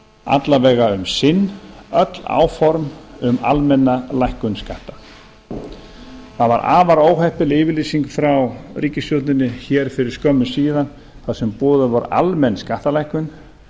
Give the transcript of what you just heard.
alla vega um sinn öll áform um almenna lækkun skatta það var afar óheppileg yfirlýsing frá ríkisstjórninni hér fyrir skömmu síðan þar sem boðuð var almenn skattalækkun